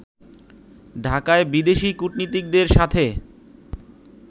ঢাকায় বিদেশী কূটনীতিকদের সাথে